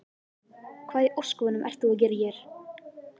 Hvað í ósköpunum ert þú að gera hér?